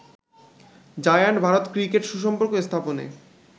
giant Bharat cricket সুসম্পর্ক স্থাপনে